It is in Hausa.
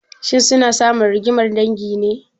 Shin suna samun rigimar dangi ne?